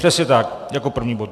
Přesně tak, jako první bod.